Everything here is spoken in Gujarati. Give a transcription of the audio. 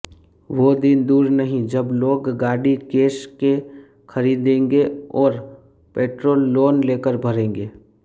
વો દિન દૂર નહિ જબ લોગ ગાડી કેશ કે ખરીદેંગે ઓર પેટ્રોલ લોન લેકર ભરેંગે